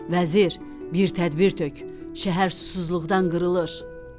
Vəzir, bir tədbir tök, şəhər susuzluqdan qırılır.